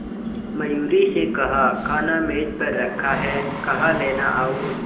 मयूरी से कहा खाना मेज पर रखा है कहा लेना और